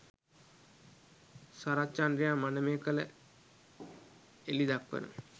සරත්චන්ද්‍රයන් මනමේ කල එලි දක්වන